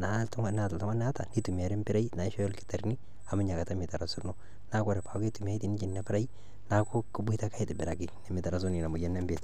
naa oltung'ani oata neitumiari empirai naishooyo olkitarrini amu Ina Kata meitarasakino naa ore ake peitumiyai Nena pirai neeku keboitare ake aitobiraki nemeitarasuni Ina moyian ebiitia.